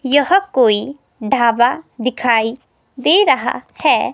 यह कोई ढाबा दिखाई दे रहा है।